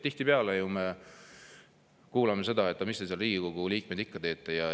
Tihtipeale me ju kuuleme seda: "Aga mis te, Riigikogu liikmed, seal ikka teete?